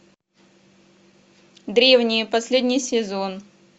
древние последний сезон